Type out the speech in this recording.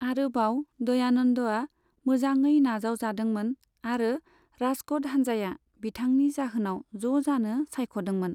आरोबाव, दयानंदआ मोजाङै नाजाव जादों मोन आरो राजकोट हानजाया बिथांनि जाहोनाव ज' जानो सायख'दों मोन।